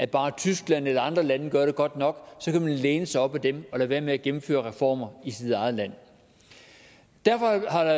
bare tyskland og andre lande gør det godt nok kan man læne sig op ad dem og lade være med at gennemføre reformer i sit eget land derfor har der